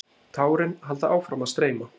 Tárin halda áfram að streyma.